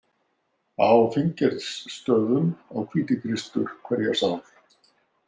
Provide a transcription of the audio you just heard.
Á Finngeirsstöðum á Hvítikristur hverja sál.